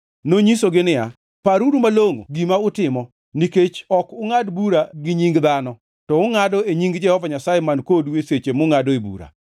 Nonyisogi niya, “Paruru malongʼo gima utimo, nikech ok ungʼad bura gi nying dhano to ungʼado e nying Jehova Nyasaye man kodu e seche mungʼadoe bura.